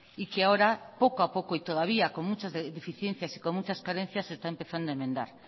y que ahora poco a poco y todavía con muchas deficiencias y con muchas carencias se está empezando a enmendar